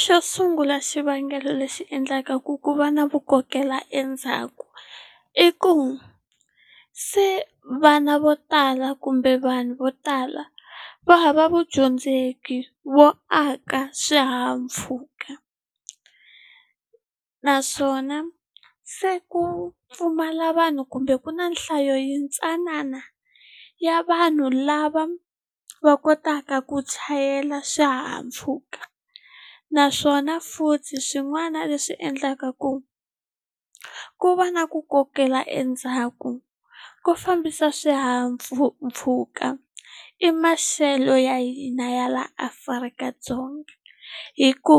Xo sungula xivangelo lexi endlaka ku ku va na vu kokela endzhaku i ku se vana vo tala kumbe vanhu vo tala va hava vudyondzeki vo aka swihahampfhuka naswona se ku pfumala vanhu kumbe ku na nhlayo yintsanana ya vanhu lava va kotaka ku chayela swihahampfhuka naswona futhi swin'wana leswi endlaka ku ku va na ku kokela endzhaku ku fambisa mpfhuka i maxelo ya hina ya laha Afrika-Dzonga hi ku